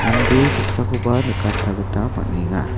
mande saksakoba nikatna gita man·enga.